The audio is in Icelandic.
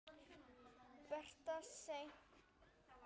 Betra er seint en aldrei!